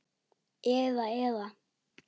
Eða, eða.